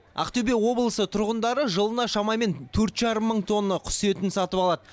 ақтөбе облысы тұрғындары жылына шамамен төрт жарым мың тонна құс етін сатып алады